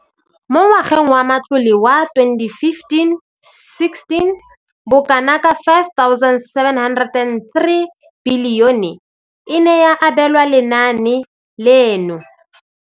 Mo ngwageng wa matlole wa 2015,16, bokanaka R5 703 bilione e ne ya abelwa lenaane leno.